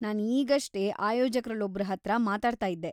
ನಾನ್ ಈಗಷ್ಟೇ ಆಯೋಜಕ್ರಲ್ಲೊಬ್ರ್ ಹತ್ರ ಮಾತಾಡ್ತಾ ಇದ್ದೆ.